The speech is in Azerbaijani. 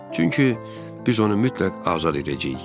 Çünki biz onu mütləq azad edəcəyik.